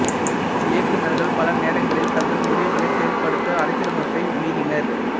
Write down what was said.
இயக்குநர்கள் பல நேரங்களில் தங்கள் முடிவுகளைச் செயல்படுத்த அரசியலமைப்பை மீறினர்